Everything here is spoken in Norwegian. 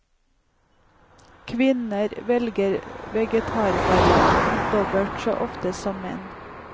Kvinner velger vegetarvarianten dobbelt så ofte som menn.